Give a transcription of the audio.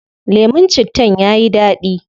Lemun cittan yayi dadi